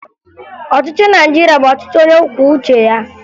Ọchịchị Naịjirịa bụ ọchịchị onyekwuoucheya